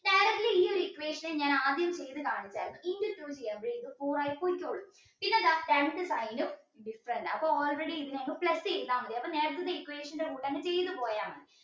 ഈയൊരു equation ന് ഞാൻ ആദ്യം ചെയ്ത കാണിച്ചായിരുന്നു different ആ അപ്പൊ already plus ചെയ്താൽ മതി അപ്പോൾ നേരത്തെ equation കൂടെ അങ്ങ് ചെയ്തു പോയാ മതി